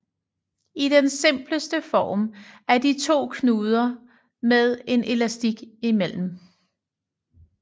I den simpleste form er de to knuder med en elastisk imellem